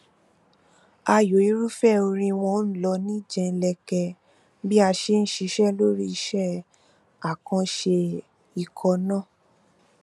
ààyò irúfẹ orin wọn n lọ ní jẹlẹnkẹ bí a ṣe n ṣiṣẹ lórí iṣẹ àkànṣe ikọ náà